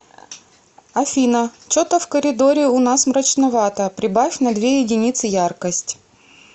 афина че то в коридоре у нас мрачновато прибавь на две единицы яркость